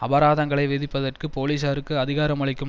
அபராதங்களை விதிப்பதற்கு போலீசாருக்கு அதிகாரமளிக்கும்